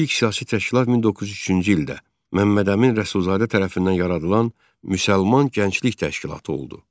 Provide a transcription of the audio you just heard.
İlk siyasi təşkilat 1903-cü ildə Məmmədəmin Rəsulzadə tərəfindən yaradılan Müsəlman Gənclik Təşkilatı oldu.